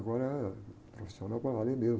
Agora é profissional com a área mesmo.